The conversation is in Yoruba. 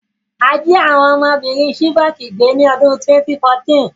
A jí àwon ọmọbìrin Chibok gbé ni odún 2014